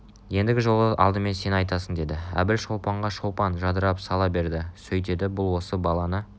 еңдігі жолы алдымен сен айтасың деді әбіл шолпанға шолпан жадырап сала берді сөйтеді бұл осы баланы